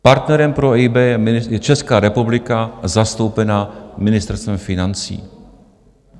Partnerem pro EIB je Česká republika zastoupená Ministerstvem financí.